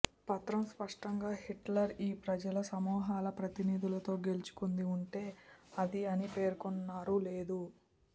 పత్రం స్పష్టంగా హిట్లర్ ఈ ప్రజల సమూహాల ప్రతినిధులతో గెలుచుకుంది ఉంటే అది అని పేర్కొన్నారు లేదు